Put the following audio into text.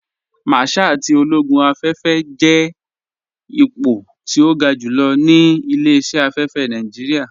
Márṣál tí ológún afẹ́fẹ́ jẹ́ ìpọ̀ tí o gá júlọ̀ ní ilẹ̀-iṣẹ̀ afẹ́fẹ́ Nàìjíríà.